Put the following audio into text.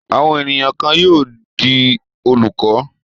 Àwọn ènìyàn kan yóò di olùkọ́.